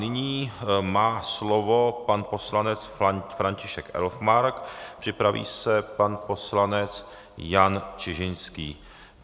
Nyní má slovo pan poslanec František Elfmark, připraví se pan poslanec Jan Čižinský.